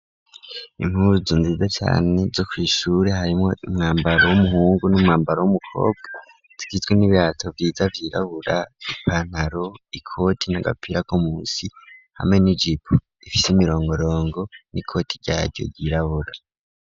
Imkuzu nziza cane zo kwishure harimwo umwambaro w'umuhungu n'umwambaro w'umukobwa tgitwe n'ibiato vyiza vyirabura ipantaro ikoti n'agapira ko musi hame n'i jipo ifise imirongorongo n'i koti ryaryo ryirabura.